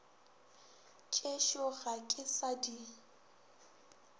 tšešo ga ke sa di